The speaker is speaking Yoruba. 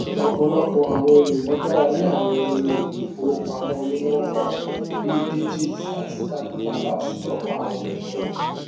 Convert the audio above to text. ọpọlọpọ àwọn ènìyàn gbaralé àwọn ohun èlò ìfowópamọ onínọmbà bí digit àti qapital láti tọpa àwọn ináwó